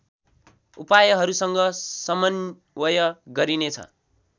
उपायहरूसँग समन्वय गरिनेछ